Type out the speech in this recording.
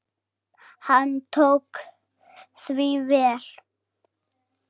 Hann tók því vel.